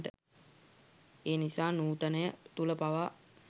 එනිසා නූතනය තුළ පවා